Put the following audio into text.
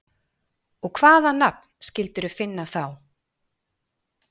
Og hvaða nafn skildirðu finna þá?